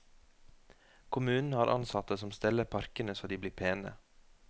Kommunen har ansatte som steller parkene så de blir pene.